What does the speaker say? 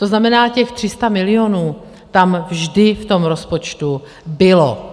To znamená, těch 300 milionů tam vždy v tom rozpočtu bylo.